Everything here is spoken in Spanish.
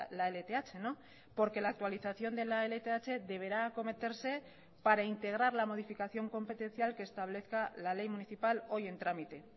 la lth porque la actualización de la lth deberá acometerse para integrar la modificación competencial que establezca la ley municipal hoy en trámite